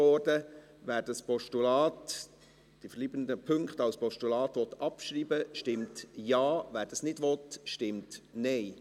Wer diese verbleibenden Punkte als Postulat abschreiben will, stimmt Ja, wer dies nicht will, stimmt Nein.